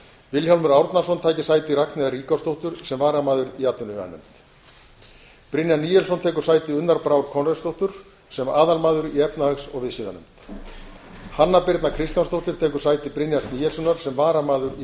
vilhjálmur árnason taki sæti ragnheiðar ríkharðsdóttur sem varamaður í atvinnuveganefnd brynjar níelsson tekur sæti unnar brár konráðsdóttur sem aðalmaður í efnahags og viðskiptanefnd hanna birna kristjánsdóttir tekur sæti brynjars níelssonar sem varamaður í